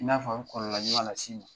I n'a fɔ n kɔrɔla ɲɔana sini